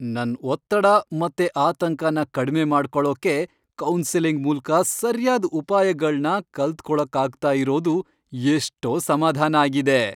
ನನ್ ಒತ್ತಡ ಮತ್ತೆ ಆತಂಕನ ಕಡ್ಮೆ ಮಾಡ್ಕೊಳೋಕೆ ಕೌನ್ಸೆಲಿಂಗ್ ಮೂಲ್ಕ ಸರ್ಯಾದ್ ಉಪಾಯಗಳ್ನ ಕಲ್ತ್ಕೊಳಕ್ಕಾಗ್ತಾ ಇರೋದು ಎಷ್ಟೋ ಸಮಾಧಾನ ಆಗಿದೆ.